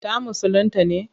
Ta musulinta ne?